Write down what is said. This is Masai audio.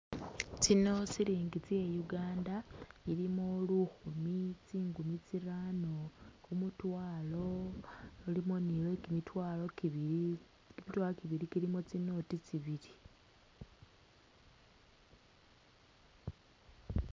Tsino silingi tse'uganda, ilimo lukhumi, tsingumi tsirano, kumutwalo lulimo ni lwekimitwalo kibili kimitwalo kibili kiilimo tsiinoti tsibili